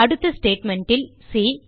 அடுத்த statementல் சி